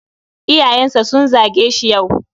Iyayensa sun zage shi yau.